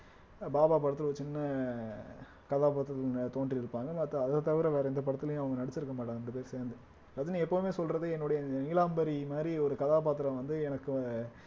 பாபா படத்துல ஒரு சின்ன கதாபாத்திரத்துல தோன்றி இருப்பாங்க மத்த அதத்தவிர வேற எந்த படத்துலயும் அவுங்க நடிச்சிருக்க மாட்டாங்க இரண்டு பேர் சேர்ந்து ரஜினி எப்பவுமே சொல்றது என்னுடைய நீலாம்பரி மாதிரி ஒரு கதாபாத்திரம் வந்து எனக்கு